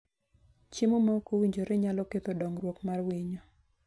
Chiemo maok owinjore nyalo ketho dongruok mar winyo.